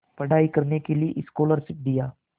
पढ़ाई करने के लिए स्कॉलरशिप दिया